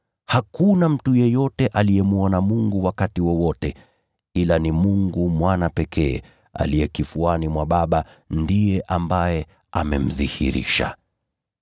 Hakuna mtu yeyote aliyemwona Mungu wakati wowote, ila ni Mungu Mwana pekee, aliye kifuani mwa Baba ndiye ambaye amemdhihirisha.